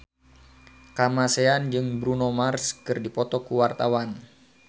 Kamasean jeung Bruno Mars keur dipoto ku wartawan